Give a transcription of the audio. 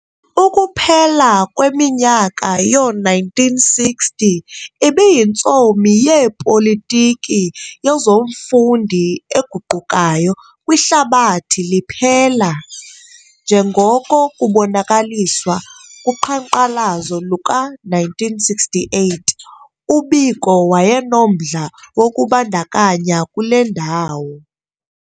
Ukuphela kweminyaka yo-1960 ibiyintsomi yeepolitiki yezomfundi eguqukayo kwihlabathi liphela, njengoko kubonakaliswa kuqhanqalazo luka-1968, uBiko wayenomdla wokuzibandakanya kule ndawo.